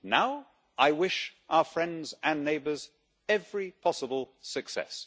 Now, I wish our friends and neighbours every possible success.